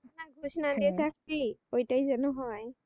হ্যাঁ এটা ঠিক। এটাই যেন হয়।